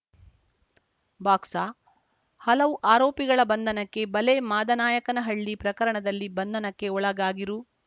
box ಹಲವು ಆರೋಪಿಗಳ ಬಂಧನಕ್ಕೆ ಬಲೆ ಮಾದನಾಯಕನಹಳ್ಳಿ ಪ್ರಕರಣದಲ್ಲಿ ಬಂಧನಕ್ಕೆ ಒಳಗಾಗಿರು